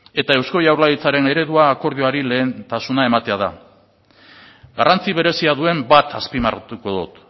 eta eusko jaurlaritzaren eredua akordioari lehentasuna ematea da garrantzi berezia duen bat azpimarratuko dut